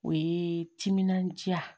O ye timinandiya